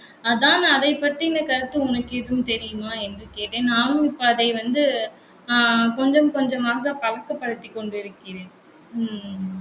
அதான் அதைப் பற்றின கருத்து உனக்கு ஏதும் தெரியுமா? என்று கேட்டேன். நானும் இப்ப அதை வந்து ஆஹ் கொஞ்சம் கொஞ்சமாக பழக்கப்படுத்திக் கொண்டிருக்கிறேன். உம் உம்